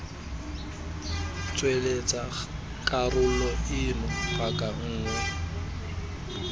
tsweletsa karolo eno paka nngwe